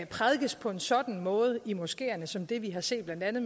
prædikes på en sådan måde i moskeerne som det vi har set blandt andet